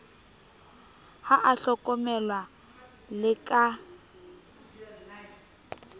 ha a hlokomelwe le ka